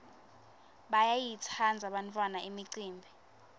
bayayitsandza bantfwana imicimbi